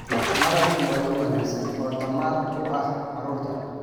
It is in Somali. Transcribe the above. Malabku waa il wanaagsan oo tamar u ah carruurta.